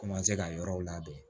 Komanse ka yɔrɔw labɛn